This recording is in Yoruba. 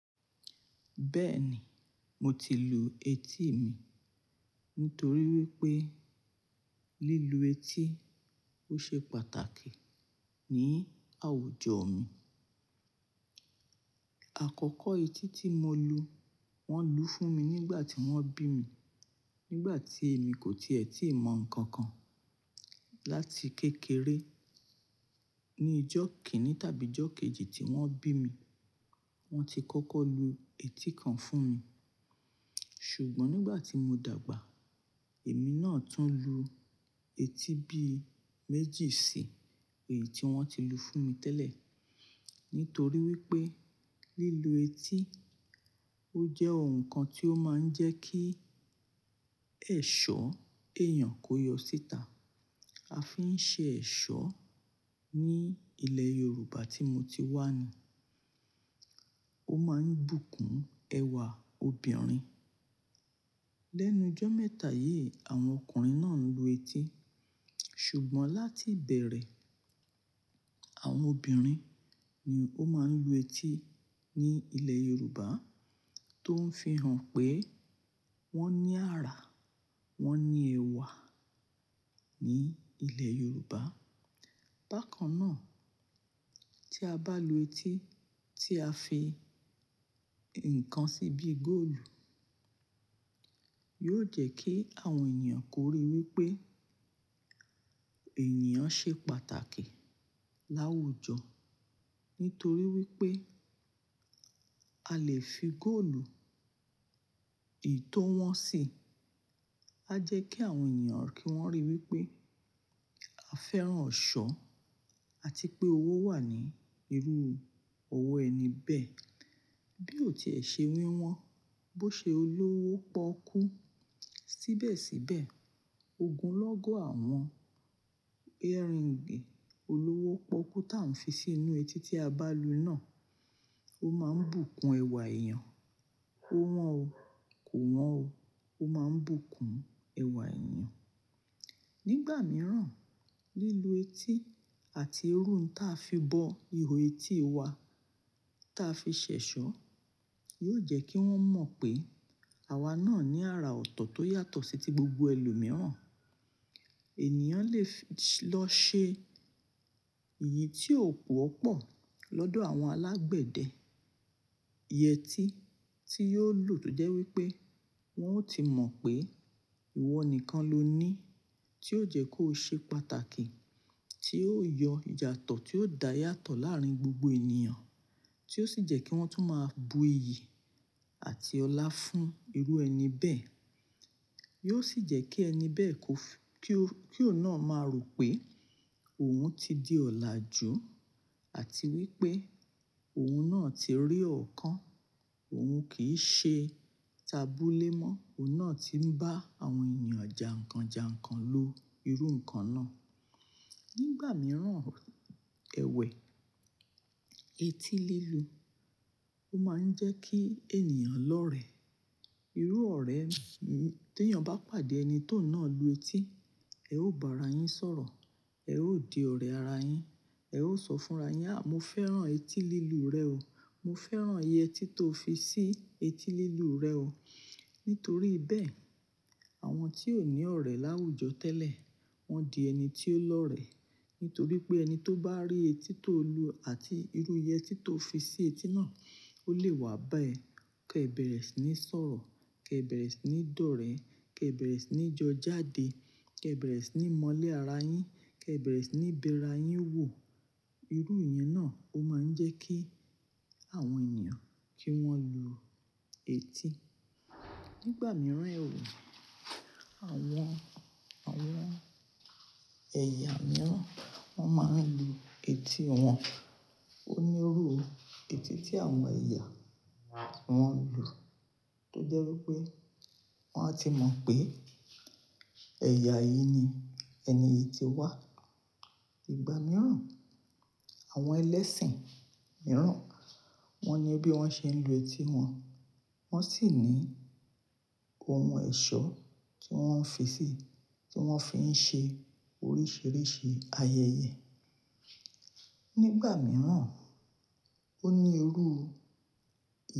Bẹ́ẹ̀ni, mo ti lu etí mi nítorí wípé lílu etí ó ṣe pàtàkì ní àwùjọ mi. Àkọ́kọ́ etí tí mo lu, wón lù ú fún mi nígbà tí wón bí mi, nígbà tí èmi kò ti è tíì mọ̀ ǹkan kan. Láti kékeré, ní ijó kejì tàbí ijó kẹ́rin tí wón bí mi, wón ti kọ́kọ́ lu etí kan fún mi. Ṣùgbọ́n nígbà tí mo dàgbà, èmi náà tún lu etí bí méjì sí èyí tí wón ti lu fún mi tẹ́lẹ̀, nítorí wípé lílu etí ó jẹ́ ohun kan tí ó máa ń jẹ́ kí ẹ̀ṣọ́ èèyàn kó yọ síta. A fi ń ṣe ẹ̀ṣọ́ ní ilẹ̀ Yorùbá tí mo ti wá ni. Ó máa ń bùkún ẹwà obìnrin. Lẹ́nu ijọ́ mẹ́ta yí, àwọn ọkùnrin náà ń lu etí. Ṣùgbọ́n láti bẹ̀rẹ̀, àwọn obìnrin ni ó máa ń lu etí ní ilẹ̀ Yorùbá tó ń fi hàn pé wón ní ara, wón ní ẹwà ní ilẹ̀ Yorùbá. Bákan náà, tí a bá lu etí tí a fi ǹkan sí bí góòlù, yóò jẹ́ kí àwọn ènìyàn kò rí wípé ènìyàn ṣe pàtàkì láwùjọ. Nítorí wípé a lè fi góòlù ètò wọ́n sí. A jẹ́ kí àwọn ènìyàn kí wón rí wípé a fẹ́ràn ọ̀ṣọ́ àti pé owó wà ní irú owó ẹni bẹ́ẹ̀. Bí ò ti è ṣe wíwọ́n, bó ṣe olówó pọ́kú. Síbẹ̀síbẹ̀ ogun lọ́gọ́ àwọn earring olówó pọ́kú tá ń fi sí inú etí tí a bá lu náà, ó máa ń bùkún ẹwà èèyàn. Ó wọ́n o, kò wọ́n o. Ó máa ń bùkún ẹwà èèyàn. Nígbà mìíràn, lílu etí àti iru n ta fi bọ ihò etí wa ta fi ṣẹ̀ṣọ́ yóò jẹ́ kí wón mọ̀ pé àwa náà ní ara ọ̀tọ̀ tó yàtọ̀ sí ti gbogbo ẹlòmíràn. Ènìyàn lè fi lọ ṣe èyí tí ó wọ́pọ̀ lọ́dọ̀ àwọn alágbẹ̀dẹ. Iyeetí tí yóò lù tọ jẹ́ wípé wón ó ti mọ̀ pé ìwọ nìkan lo ní tí ó jẹ́ kó ṣe pàtàkì, tí ó yọ ìjà tọ́ tí ó da yàtọ̀ láàárín gbogbo ènìyàn, tí ó sì jẹ́ kí wọ́n tún máa bu iyì àti ọlá fún irú ẹni bẹ́ẹ̀. Yóò sì jẹ́ kí ẹni bẹ́ẹ̀ kó fi-- kí ó náà máa rò pé òun ti di ọ̀làjú àti wípé òun náà ti rí ọ̀kan, òun kì í ṣe tabúlémọ́, òun náà ti ń bá àwọn ènìyàn jà ǹkan jà ǹkan lo irú ǹkan náà. Nígbà mìíràn, ẹ̀wẹ̀ etí lílu ó máa ń jẹ́ kí ènìyàn lọ́rẹ. Irú ọ̀rẹ́ tí ènìyàn bá pàdé ẹni tó náà lu etí, ẹ̀ ó bá ara yín sọ̀rọ̀, ẹ̀ ó di ọ̀rẹ́ ara yín, ẹ̀ ó sọ fún ara yín, "à mo fẹ́ràn etí lílu rẹ o. Mo fẹ́ràn iye etí tó fi sí etí lílu rẹ o." Nítorí bẹ́ẹ̀, àwọn tí ò ní ọ̀rẹ́ láwùjọ tẹ́lẹ̀, wọ́n di ẹni tí ó lọ́rẹ. Nítorí pé ẹni tó bá rí etí tó lu àti irú iyetí tó fi sí etí náà, ó lè wá bá ẹ. Kẹ́ bẹ̀rẹ̀ sí ní sọ̀rọ̀, kẹ́ bẹ̀rẹ̀ sí ní dọ́rẹ̀ẹ́, kẹ́ bẹ̀rẹ̀ sí ní jọ jáde, kẹ́ bẹ̀rẹ̀ sí ní mọ́lẹ̀ ara yín, kẹ́ bẹ̀rẹ̀ sí ní bẹra yín wò. Irú ìyẹn náà ó máa ń jẹ́ kí àwọn ènìyàn kí wọ́n lu etí. Nígbà mìíràn ẹ wò, àwọn, àwọn ẹ̀yà mìíràn wọ́n máa ń lu etí wọn. Ó ní irú etí tí àwọn ẹ̀yà ti wọ́n lù tó jẹ́ wípé wón á ti mọ̀ pé ẹ̀yà yìí ni ẹni yìí ti wá. Ìgbà mìíràn, àwọn ẹlẹ́sìn mìíràn wọ́n ní bí wọ́n ṣe ń lu etí wọn, wọ́n sì ní ohun ẹ̀ṣọ́ tí wọ́n ń fi sí, tí wọ́n fi ń ṣe oríṣìíríṣìí ayẹyẹ. Nígbà mìíràn, ó ní irú.